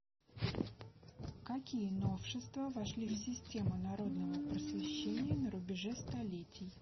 какие новшества вошли в систему народного просвещения на рубеже столетий